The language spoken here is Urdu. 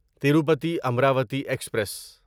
تیروپتی امراوتی ایکسپریس